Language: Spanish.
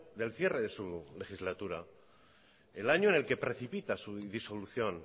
del cierre de su legislatura el año en el que precipita su disolución